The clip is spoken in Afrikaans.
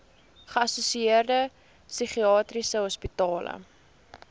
geassosieerde psigiatriese hospitale